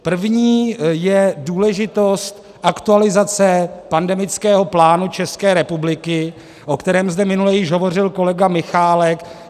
První je důležitost aktualizace pandemického plánu České republiky, o kterém zde minule již hovořil kolega Michálek.